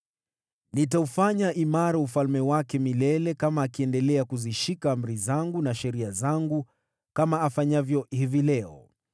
Nitaufanya imara ufalme wake milele kama akiendelea kuzishika amri zangu na sheria zangu, kama afanyavyo hivi leo.’